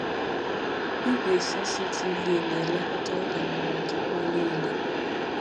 Igwe CCTV na-elekọta ngalaba nchekwa niile.